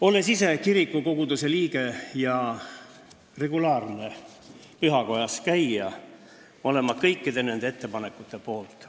Olles ise kirikukoguduse liige ja regulaarne pühakojas käija, olen ma kõikide nende ettepanekute poolt.